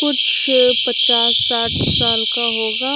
कुछ पचास साठ साल का होगा।